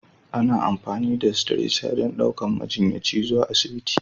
Ana amfani da Stretcher don ɗaukar majiyyaci zuwa asibiti.